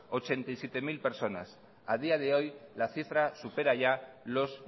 ochenta y siete mil personas a día de hoy la cifra supera ya los